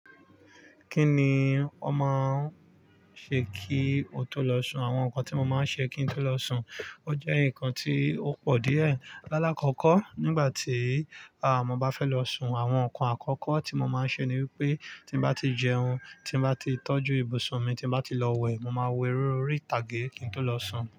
Kíni ó máa ń ṣe kí o tó lọ sùn? Àwọn nǹkan tí mo máa ń ṣe kí n tó lọ sùn, ó jẹ́ nǹkan tí ó pọ̀ díẹ̀. Lálákọkọ́ nígbà tí a mo bá fẹ́ lọ sùn, àwọn nǹkan àkọ́kọ́ tí mo máa ń ṣe ni wípé tí bá ti jẹun, tí bá ti tọ́jú ibùsùn mi, tí bá ti lọ wẹ̀, mo máa wo eré orí ìtàgé kí n tó lọ sùn.